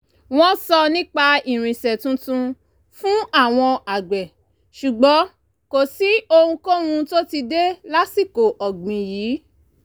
wọ́n sọ nípa irinṣẹ́ tuntun fún àwọn agbe ṣùgbọ́n kò sí ohunkóhun tó ti dé lásìkò ọ̀gbìn yìí